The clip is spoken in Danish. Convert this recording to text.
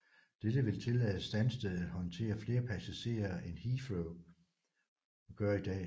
Dette vil tillade Stansted at håndtere flere passagerer end Heathrow gør i dag